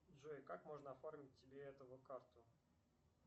джой как можно оформить тебе эту карту